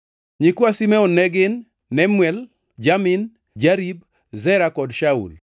Nyikwa Simeon ne gin: Nemuel, Jamin, Jarib, Zera kod Shaul;